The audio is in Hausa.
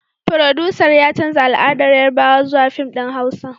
Furodusan ya canza al'adar Yarbawa zuwa fim din huasa